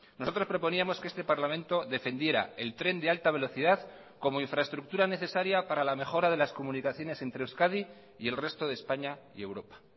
nosotros proponíamos que este parlamento defendiera el tren de alta velocidad como infraestructura necesaria para la mejora de las comunicaciones entre euskadi y el resto de españa y europa